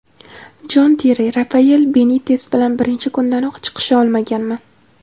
Jon Terri: Rafael Benites bilan birinchi kundanoq chiqisha olmaganman.